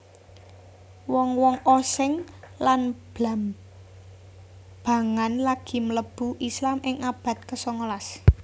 Wong wong Osing lan Blambangan lagi mlebu Islam ing abad kesongolas